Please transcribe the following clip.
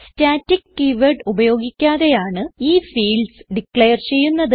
static keyword ഉപയോഗിക്കാതെയാണ് ഈ fields declare ചെയ്യുന്നത്